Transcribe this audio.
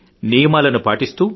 నియమాలను పాటిస్తూ